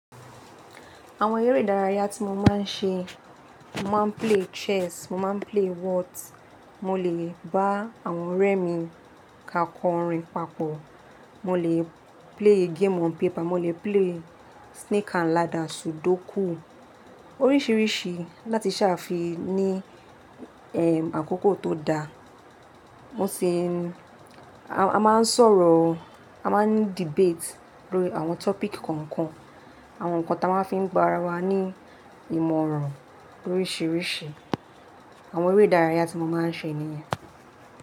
Àwọn eré ìdárayá tí mo máa ń ṣe, mo máa ń play chess, mo máa ń play words, mo lè bá àwọn ọ̀rẹ́ mi ka kọrin papọ̀, mo lè play game on paper, mo lè play snake and ladder, sudoku oríṣìíríṣìí láti ṣàfi ní ẹ́m àkókò tó da. Mo ṣè, a máa ń sọ̀rọ̀, a máa ń ní debate lórí àwọn topic kọ̀ọ̀kan, àwọn nǹkan tí a máa ń fi ń gba ara wa ní ìmọ̀ràn oríṣìíríṣìí. Àwọn eré ìdárayá tí mo máa ń ṣe nìyẹn.